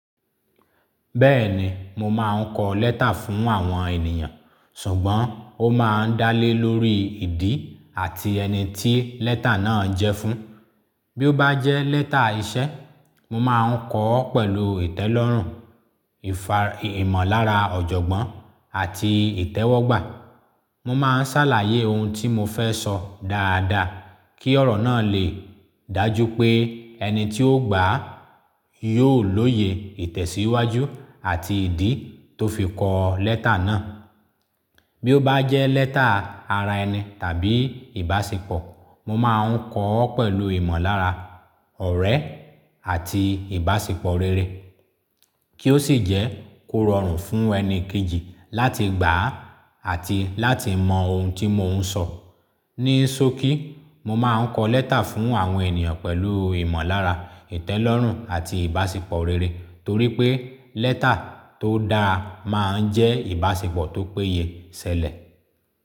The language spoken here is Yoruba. Bẹ́ẹ̀ni, mo máa ń kọ lẹ́tà fún àwọn ènìyàn, ṣùgbọ́n ó máa ń dá lé lórí ìdí àti ẹni tí lẹ́tà náà jẹ́ fún. Bí ó bá jẹ́ lẹ́tà iṣẹ́, mo máa ń kọ ọ́ pẹ̀lú ìtẹ́lọ́rùn, ìmọ̀lára ọ̀jọ̀gbọ́n àti ìtẹ́wọ́gbà. Mo máa ń ṣàlàyé ohun tí mo fẹ́ sọ dáadáa, kí ọ̀rọ̀ náà lè dájú pé ẹni tí ó gbà á yóò lóye ìtẹ̀síwájú àti ìdí tó fi kọ lẹ́tà náà. Bí ó bá jẹ́ lẹ́tà ara ẹni tàbí ìbáṣepọ̀, mo máa ń kọ ọ́ pẹ̀lú ìmọ̀lára ọ̀rẹ́ àti ìbáṣepọ̀ rere, kí ó sì jẹ́ kó rọrùn fún ẹni kejì láti gbà á àti láti mọ ohun tí mò ń sọ. Ní sokí, mo máa ń kọ lẹ́tà fún àwọn ènìyàn pẹ̀lú ìmọ̀lára, ìtẹ́lọ́rùn àti ìbáṣepọ̀ rere, torí pé lẹ́tà tó dáa máa ń jẹ́ ìbáṣepọ̀ tó péye ṣẹlẹ̀.